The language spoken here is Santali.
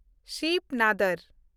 ᱥᱤᱵᱽ ᱱᱟᱫᱚᱨ